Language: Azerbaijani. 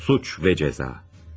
Suç ve Ceza.